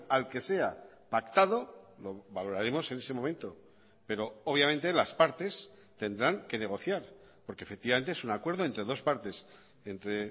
al que sea pactado lo valoraremos en ese momento pero obviamente las partes tendrán que negociar porque efectivamente es un acuerdo entre dos partes entre